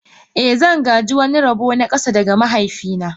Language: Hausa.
I, zan gāji wani rabo na ƙasa daga mahaifina